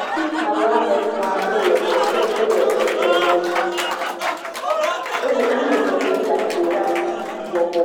Atkpala ame etɔ̃ aɖe le teƒe aɖe le edɔ wɔm. ame eve le gakpo ɖe asi bɔbɔ.